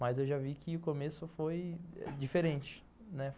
Mas eu já vi que o começo foi diferente, né.